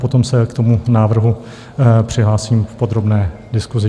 Potom se k tomu návrhu přihlásím v podrobné diskusi.